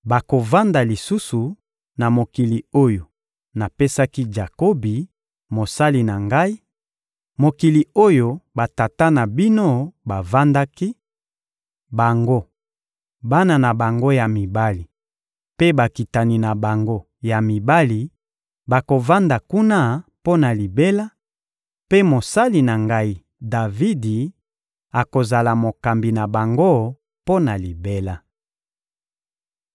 Bakovanda lisusu na mokili oyo napesaki na Jakobi, mosali na Ngai, mokili oyo batata na bino bavandaki: bango, bana na bango ya mibali mpe bakitani na bango ya mibali bakovanda kuna mpo na libela; mpe mosali na Ngai, Davidi, akozala mokambi na bango mpo na libela.